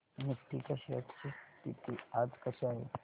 Nifty च्या shares ची स्थिती आज कशी आहे